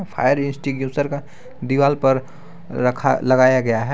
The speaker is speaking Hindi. फायर इंस्टिट्यूशन का दीवाल पर रखा लगाया गया है।